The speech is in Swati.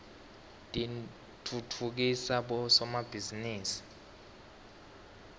titfutfukisa bosomabhizinisi